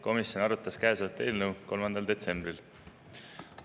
Komisjon arutas käesolevat eelnõu 3. detsembril.